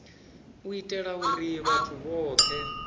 u itela uri vhathu vhothe